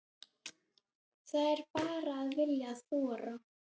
Það er bara að vilja og þora.